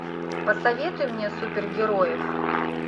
посоветуй мне супергероев